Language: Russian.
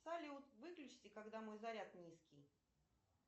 салют выключите когда мой заряд низкий